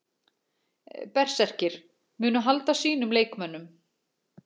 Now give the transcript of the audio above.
Berserkir: Munu halda sínum leikmönnum.